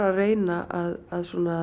reyna að